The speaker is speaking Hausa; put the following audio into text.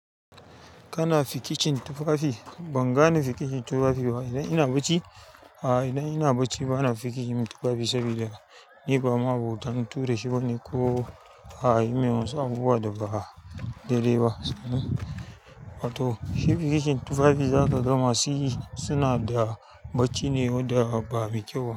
Kana fikicin tufafi? Ban gane fikicin tufafi ba. Idan ina bacci, a idan ina bacci bana fikicin tufafi saboda ni ba ma'abotan ture shi ba ne ko ayi min wasu abubuwa da ba daidai ba. Toh shi fikicin tufafi zaka ga masu yi, suna da bacci ne wanda ba mai kyau ba.